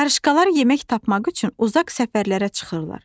Qarışqalar yemək tapmaq üçün uzaq səfərlərə çıxırlar.